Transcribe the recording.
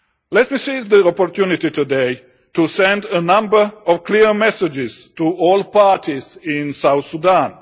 Let us seize the opportunity today to send a number of clear messages to all parties in South Sudan.